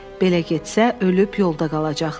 Belə getsə, ölüb yolda qalacaqdı.